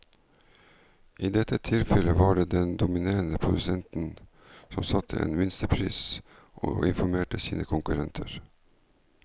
I dette tilfellet var det den dominerende produsenten som satte en minstepris og informerte sine konkurrenter.